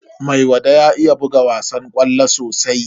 Maiwada ya iya buga wasan ƙwallo sosai.